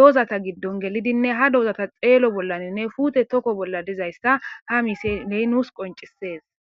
doozata giddon gelidinne ha doozata xeelo bollaninne fuute tokko bolla dizayssa ha misiley nuus qoncises